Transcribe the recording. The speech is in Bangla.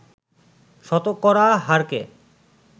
শতকরা হারকে